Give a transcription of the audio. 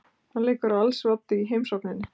Hann leikur á als oddi í heimsókninni.